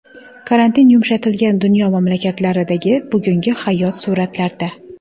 Karantin yumshatilgan dunyo mamlakatlaridagi bugungi hayot suratlarda.